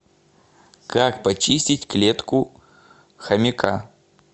как почистить клетку хомяка